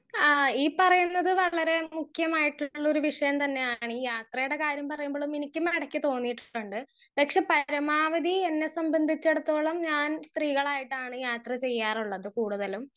speaker 1 ആ ഈ പറയുന്നത് വളരെ മുക്യമായിട്ടുള്ളൊരു വിഷയം തന്നെയ്യാണ് ഈ യാത്രയടെ കാര്യം പറയുമ്പളും എനിക്ക് നടക്ക് തോന്നിട്ടുണ്ട് പക്ഷെ പരമാവധി എന്നെ സംബന്ധിച്ചടത്തോളം ഞാൻ സ്ത്രീകളായിട്ടാണ് യാത്ര ചെയ്യാറുള്ളത് കൂടുതലും